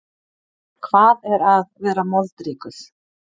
Hvað er að vera moldríkur?